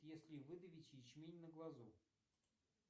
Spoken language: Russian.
если выдавить ячмень на глазу